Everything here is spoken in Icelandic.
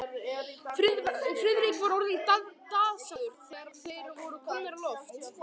Friðrik var orðinn dasaður, þegar þeir voru komnir á loft.